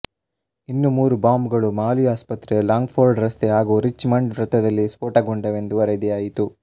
ಇನ್ನು ಮೂರು ಬಾಂಬ್ ಗಳು ಮಾಲಿ ಆಸ್ಪತ್ರೆ ಲಾಂಗ್ ಫೋರ್ಡ್ ರಸ್ತೆ ಹಾಗು ರಿಚ್ ಮಂಡ್ ವೃತ್ತದಲ್ಲಿ ಸ್ಫೋಟಗೊಂಡವೆಂದು ವರದಿಯಾಯಿತು